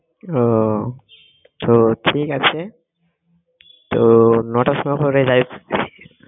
উহ তো ঠিক আছে তো নটার সময় করে